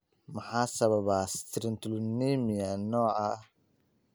Maxaa sababa citrullinemia nooca I?